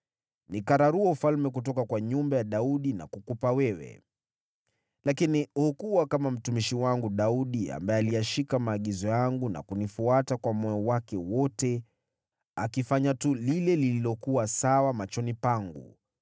Nikararua ufalme kutoka kwa nyumba ya Daudi na kukupa wewe, lakini hukuwa kama mtumishi wangu Daudi, ambaye aliyashika maagizo yangu na kunifuata kwa moyo wake wote, akifanya tu lile lililokuwa sawa machoni pangu.